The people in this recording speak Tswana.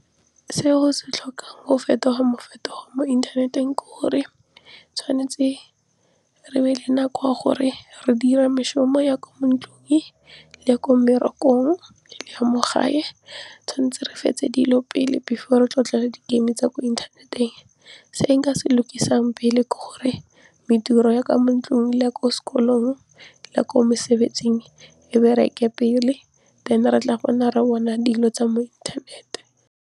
Se o se tlhokang go fetoga mo inthaneteng ke gore tshwanetse re be le nako ya gore re dire meshomo ya kwa mo ntlung le ya ko mmerekong le ya mo gae, tshwanetse re fetse dilo pele before tre tlile go di-game tsa mo inthaneteng, se nka se lokisang pele gore mediro ya ka mo ntlong le ya ko sekolong le ya ko mosebetsing e bereke pele then re tla ra bona dilo tsa mo inthanete.